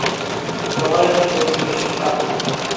николай федотович франк